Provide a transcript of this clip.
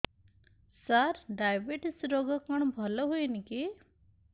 ସାର diabetes ରୋଗ କଣ ଭଲ ହୁଏନି କି